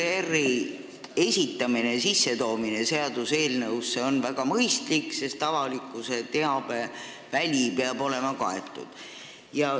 ERR-i esitamine ja lülitamine seaduseelnõusse on väga mõistlik, sest avalikkuse teabeväli peab olema kaetud.